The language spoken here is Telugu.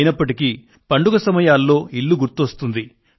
అయినప్పటికీ పండుగ సమయాల్లో ఇల్లు గుర్తుకు వస్తుంది